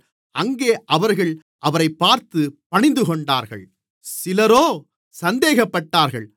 அங்கே அவர்கள் அவரைப் பார்த்து பணிந்துகொண்டார்கள் சிலரோ சந்தேகப்பட்டார்கள்